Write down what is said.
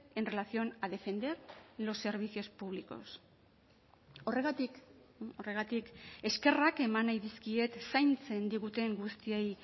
en relación a defender los servicios públicos horregatik horregatik eskerrak eman nahi dizkiet zaintzen diguten guztiei